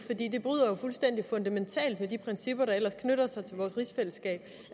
bryder jo fuldstændig fundamentalt med de principper der ellers knytter sig til vores rigsfællesskab